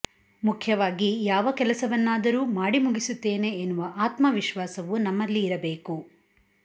ಮುಖ್ಯವಾಗಿ ಯಾವ ಕೆಲಸವನ್ನಾದರೂ ಮಾಡಿ ಮುಗಿಸುತ್ತೇನೆ ಎನ್ನುವ ಆತ್ಮವಿಶ್ವಾಸವು ನಮ್ಮಲ್ಲಿ ಇರಬೇಕು